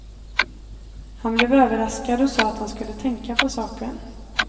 Han blev överraskad och sade att han skulle tänka på saken.